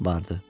Vardı.